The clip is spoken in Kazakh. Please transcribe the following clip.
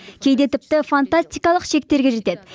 кейде тіпті фантастикалық шектерге жетеді